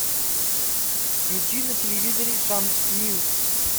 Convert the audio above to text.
включи на телевизоре шант ньюс